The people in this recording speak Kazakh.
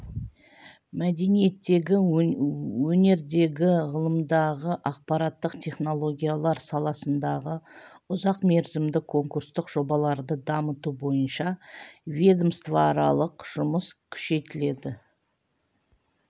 мәдениеттегі өнердегі ғылымдағы ақпараттық технологиялар саласындағы ұзақ мерзімді конкурстық жобаларды дамыту бойынша ведомствоаралық жұмыс күшейтіледі